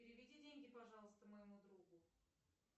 переведи деньги пожалуйста моему другу